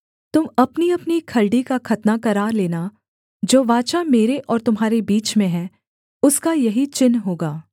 तुम अपनीअपनी खलड़ी का खतना करा लेना जो वाचा मेरे और तुम्हारे बीच में है उसका यही चिन्ह होगा